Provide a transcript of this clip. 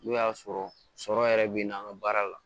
N'o y'a sɔrɔ sɔrɔ yɛrɛ bɛ na an ka baara la